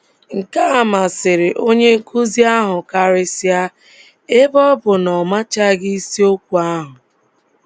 Nke a masịrị onye nkụzi ahụ karịsịa, ebe ọ bụ na ọ machaghị isiokwu ahụ.